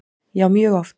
Já mjög oft.